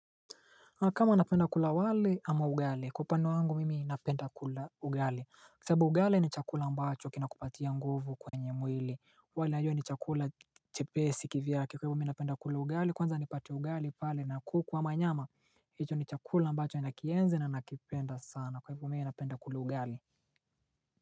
Na kama napenda kula wali ama ugal kwa upande wangu mimi napenda kula ugali Kwa sababu ugali ni chakula ambacho kinakupatia nguvu kwenye mwili wali unajua ni chakula chepesi kivyake kwa hivyo mimi napenda kula ugali kwanza nipate ugali pale na kuku ama nyama hicho ni chakula ambacho nakienzi na ninakipenda sana kwa hivyo mimi napenda kula ugali.